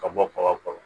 Ka bɔ kaba kɔrɔ